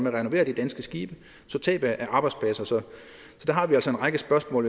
at renovere danske skibe så tabet er arbejdspladser så der har vi altså en række spørgsmål